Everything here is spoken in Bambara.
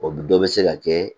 O dɔ bɛ se ka kɛ